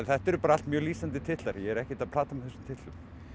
þetta eru bara allt mjög lýsandi titlar ég er ekkert að plata með þessum titlum